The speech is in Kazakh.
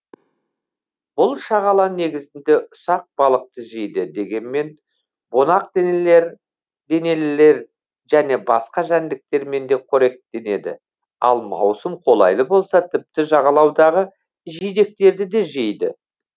бұл шағала негізінде ұсақ балықты жейді дегенмен бунақденелілер және басқа жәндіктермен де қоректенеді ал маусым қолайлы болса тіпті жағалаудағы жидектерді де жейді